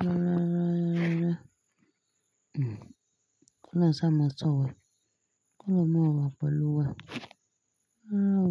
Rárá, rárá, rárá. K'ọlọ́rùn sáa máa sọ̀ wá. K'ọlọ́rùn máa wá pelu wá. Rárá o.